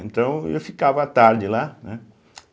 Então, eu ficava à tarde lá, né?